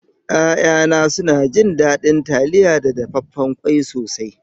Ya'yana suna jin daɗin taliya da dafaffen ƙwai sosai.